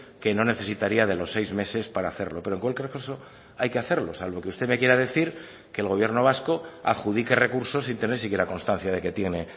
que no necesitaría de los seis meses para hacerlo pero en cualquier caso hay que hacerlo salvo que usted me quiera decir que el gobierno vasco adjudique recursos sin tener si quiera constancia de que tiene